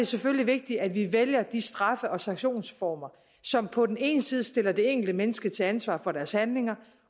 selvfølgelig vigtigt at vi vælger de straffe og sanktionsformer som på den ene side stiller det enkelte menneske til ansvar for dets handling